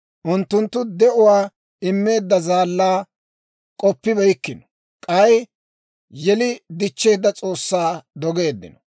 Unttunttu de'uwaa immeedda Zaallaa k'oppibeykkino; k'ay yeli dichcheedda S'oossaa dogeeddino.